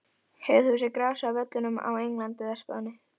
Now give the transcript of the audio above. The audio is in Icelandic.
Hefur þú séð grasið á völlum á Englandi eða Spáni?